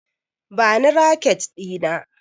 Bani raket Dina!